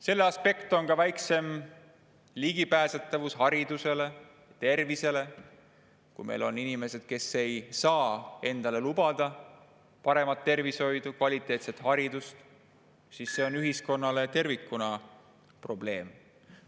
Selle aspekt on ka väiksem ligipääsetavus haridusele ja tervisele – kui meil on inimesed, kes ei saa endale lubada paremat tervishoidu, kvaliteetset haridust, siis see on ühiskonnale tervikuna probleem.